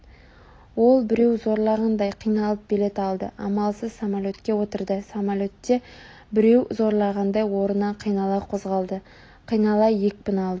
ол біреу зорлағандай қиналып билет алды амалсыз самолетке отырды самолет те біреу зорлағандай орнынан қинала қозғалды қинала екпін алды